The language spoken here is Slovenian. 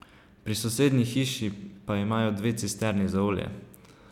Pri sosednji hiši pa imajo dve cisterni za olje.